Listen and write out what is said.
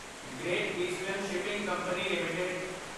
great Eastern Shipping Company LTD